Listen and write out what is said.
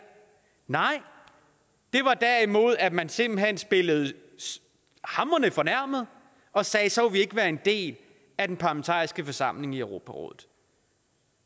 nej det var derimod at man simpelt hen spillede hamrende fornærmet og sagde så vil vi ikke være en del af den parlamentariske forsamling i europarådet